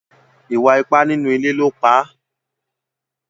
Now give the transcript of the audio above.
Ìwà ipá nínú ilé ló pa.